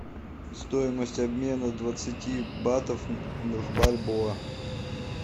стоимость обмена двадцати батов в бальбоа